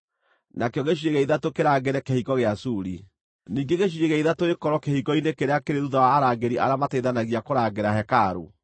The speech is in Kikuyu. nakĩo gĩcunjĩ gĩa ithatũ kĩrangĩre Kĩhingo gĩa Suri, ningĩ gĩcunjĩ gĩa ithatũ gĩkorwo kĩhingo-inĩ kĩrĩa kĩrĩ thuutha wa arangĩri arĩa mateithanagia kũrangĩra hekarũ,